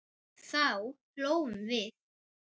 Þá hlógum við.